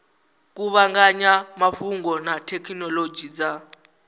kuvhanganya mafhungo na thekhinolodzhi dza